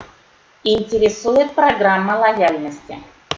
интересует программа лояльности